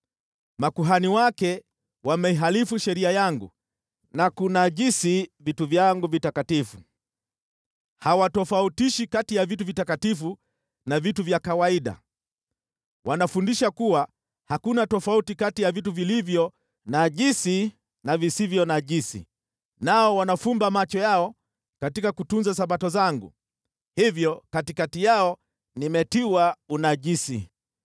Makuhani wake wameihalifu sheria yangu na kunajisi vitu vyangu vitakatifu, hawatofautishi kati ya vitu vitakatifu na vitu vya kawaida. Wanafundisha kuwa hakuna tofauti kati ya vitu vilivyo najisi na visivyo najisi, nao wanafumba macho yao katika kutunza Sabato zangu, hivyo katikati yao nimetiwa unajisi.